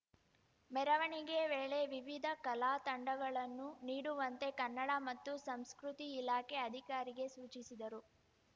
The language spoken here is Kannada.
ಮೆರವಣಿಗೆ ವೇಳೆ ವಿವಿಧ ಕಲಾ ತಂಡಗಳನ್ನು ನೀಡುವಂತೆ ಕನ್ನಡ ಮತ್ತು ಸಂಸ್ಕೃತಿ ಇಲಾಖೆ ಅಧಿಕಾರಿಗೆ ಸೂಚಿಸಿದರು